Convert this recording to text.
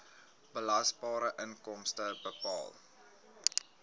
belasbare inkomste bepaal